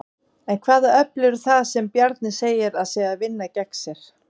En hvaða öfl eru það sem Bjarni segir að séu að vinna gegn sér?